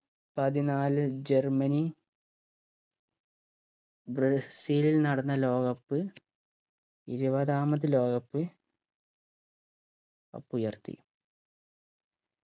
പതിനാല് Germany Brazil നടന്ന ലോക cup ഇരുപതാമത് ലോക cup cup ഉയർത്തി